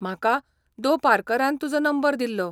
म्हाका दो. पार्करान तुजो नंबर दिल्लो.